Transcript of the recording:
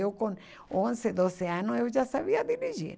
Eu com onze, doze anos, eu já sabia dirigir.